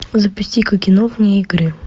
запусти ка кино вне игры